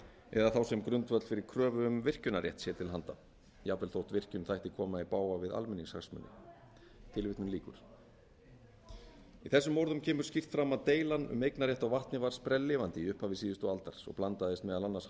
eða þá sem grundvöll fyrir kröfu um virkjunarrjett sér til handa jafnvel þótt virkjun þætti koma í bága við almenningshagsmuni í þessum orðum kemur skýrt fram að deilan um eignarrétt á vatni var sprelllifandi í upphafi síðustu aldar svo blandaðist meðal annars